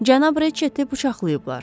Cənab Reçeti bıçaqlayıblar.